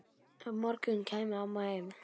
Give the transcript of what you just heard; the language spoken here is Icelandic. morgun kæmi mamma heim.